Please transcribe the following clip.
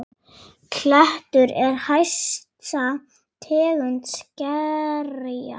Klettur er hæsta tegund skerja.